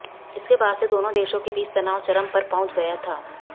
इसके बाद से दोनों देशों के बीच तनाव चरम पर पहुंच गया था